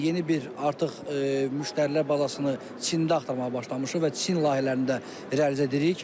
Yeni bir artıq müştərilər bazasını Çində axtarmağa başlamışıq və Çin layihələrini də realizə edirik.